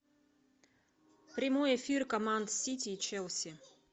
прямой эфир команд сити и челси